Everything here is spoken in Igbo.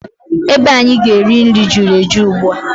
Ebe anyị ga-eri nri juru eju ugbua.